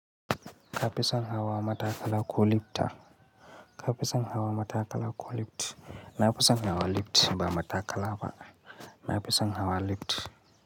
Ka fison hawa matakala koh lifta. Ka fesa hawa matakala koh lift. Na fisan hawa lift ba matakala ba. Na fesa hawa lift.